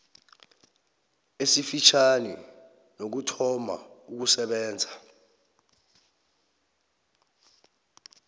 esifitjhani nokuthoma ukusebenza